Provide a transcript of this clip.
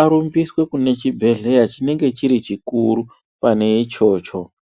arumbiswe kune chimwe chibhedhlera chinenge chikuru pane ichocho.